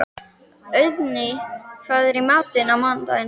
Auðný, hvað er í matinn á mánudaginn?